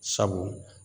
Sabu